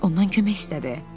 Ondan kömək istədi.